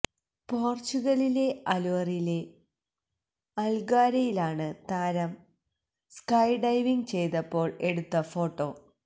പോര്ച്ചുഗല്ലിലെ അല്വോറിലെ അല്ഗാര്വേയിലാണ് താരം സ്കൈഡൈവിംഗ് ചെയ്തതപ്പോള് എടുത്ത ഫോട്ടോ